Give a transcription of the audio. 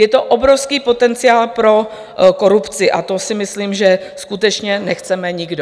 Je to obrovský potenciál pro korupci a to si myslím, že skutečně nechceme nikdo.